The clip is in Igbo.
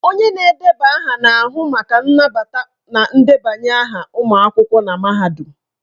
Onye na-edeba aha na-ahụ maka nnabata na ndebanye aha ụmụ akwụkwọ na mahadum.